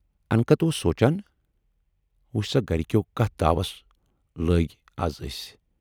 انکت اوس سونچان"وُچھ سا گَرِکٮ۪و کتَھ داوَس لٲگۍ اَز ٲسۍ۔